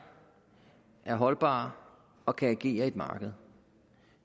er holdbare og kan agere i et marked